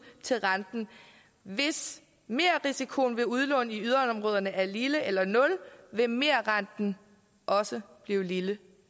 til renten hvis merrisikoen ved udlån i yderområderne er lille eller nul vil merrenten også blive lille